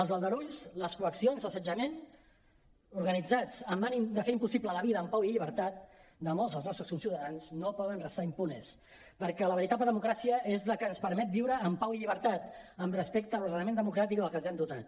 els aldarulls les coaccions l’assetjament organitzats amb l’ànim de fer impossible la vida amb pau i llibertat de molts dels nostres conciutadans no poden restar impunes perquè la veritable democràcia és la que ens permet viure en pau i llibertat amb respecte a l’ordenament democràtic del qual ens hem dotat